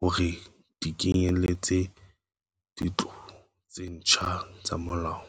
hore di kenyeletse ditlolo tse ntjha tsa molao.